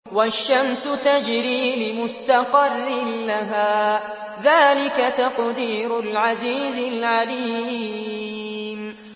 وَالشَّمْسُ تَجْرِي لِمُسْتَقَرٍّ لَّهَا ۚ ذَٰلِكَ تَقْدِيرُ الْعَزِيزِ الْعَلِيمِ